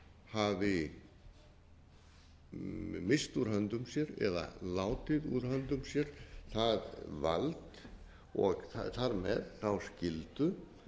hafi misst úr höndum sér eða látið úr höndum sér það vald og þar með þá skyldu